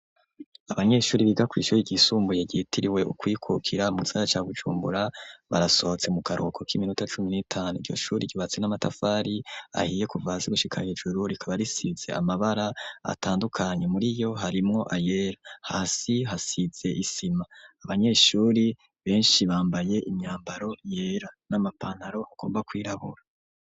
Abanyeshure biga kw'ishure ryisumbuye ryitiriwe Ukwikukira mu gisagara ca Bujumbura, barasohotse mu karuhuko k'iminota cumin n'itanu. Iryo shuri ryubatse n'amatafari ahiye kuva hasi gushika hejuru. Rikaba risize amabara atandukanye muriyo harimwo ayera , hasi hasize isima. Abanyeshuri benshi bambaye imyambaro yera n'amapantaro agomba kwirabura.